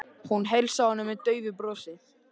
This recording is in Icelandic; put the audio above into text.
Hún heilsaði honum með daufu brosi.